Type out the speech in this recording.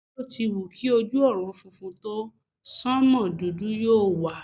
Bí o ti wù kí ojú ọ̀run funfun tó, sánmò dúdú yóò wà.